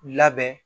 Labɛn